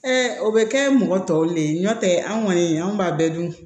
o bɛ kɛ mɔgɔ tɔw le ye n'o tɛ an kɔni an b'a bɛɛ dun